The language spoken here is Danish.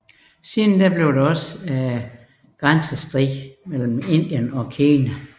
Der blev også senere grænsestrid mellem Indien og Kina